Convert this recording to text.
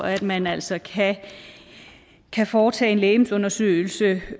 at man altså kan kan foretage en legemsundersøgelse